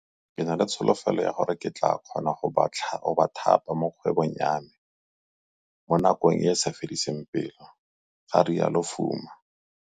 Ke na le tsholofelo ya gore ke tla kgona go ba thapa mo kgwebong ya me mo nakong e e sa fediseng pelo, ga rialo Fuma.